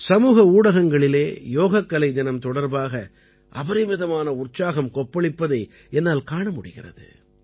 சமூக ஊடகங்களிலே யோகக்கலை தினம் தொடர்பாக அபரிமிதமான உற்சாகம் கொப்பளிப்பதை என்னால் காண முடிகிறது